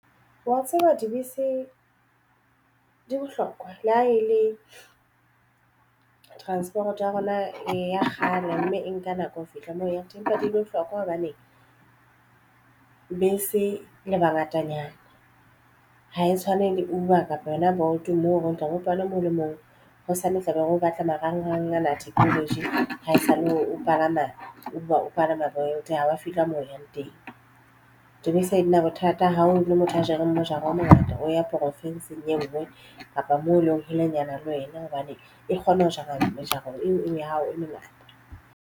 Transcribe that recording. Wa tseba dibese di bohlokwa le ha e le transport ya rona e ya kgale mme e nka nako ho fihla moo ya tempa di bohlokwa hobane bese le bangatanyana ha e tshwane le Uber kapa yona Bolt moo ho tloha ho palo e mong le mong hosane o tlabe o batla marangrang ana technology ha esale o palama Uber o palama bongata haba fihla mo o yang teng. Obesayina bothata ha o le motho a jereng mojaro o mongata o ya profensing eo bona kapa moo e leng holenyana le wena hobane e kgona ho jara le jara ong ya hao e mengata.